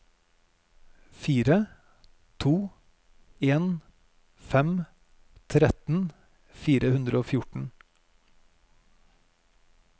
fire to en fem tretten fire hundre og fjorten